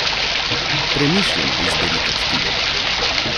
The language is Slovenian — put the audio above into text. Premišljeno izberita čtivo.